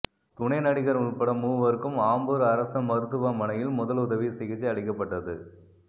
துணை நடிகர் உள்பட மூவருக்கும் ஆம்பூர் அரசு மருத்துவமனையில் முதலுதவி சிகிச்சை அளிக்கப்பட்டது